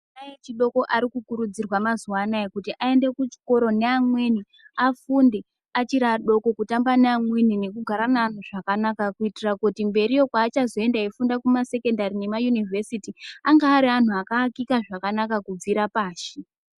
Ana echidoko ari kukurudzirwa mazuwa anaya kuti aende kuchikora neamweni, afunde achiri adoko kutamba neamweni nekugara neanhu zvakanaka. Kuitira kuti mberiyo kweachazoenda eifunda kuma sekendari nema yunivhesiti ange ari anhu akaakika zvakanaka kubvira pashi.